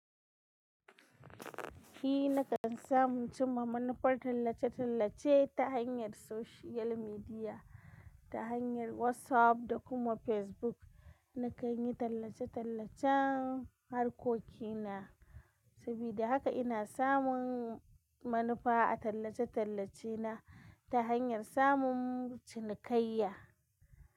Ni nakan samu cimaman manufar tallace-tallace ta hanyar social media, ta hanyar WhatsApp da kuma Facebook. Nakan yi tallace-tallacen harkokina, sabida haka ina samun manufa a tallace-tallacena ta hanyar samun cinikayya.